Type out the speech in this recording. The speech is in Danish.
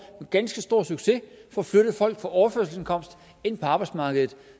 med ganske stor succes får flyttet folk fra overførselsindkomst ind på arbejdsmarkedet